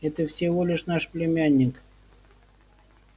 это всего только наш племянник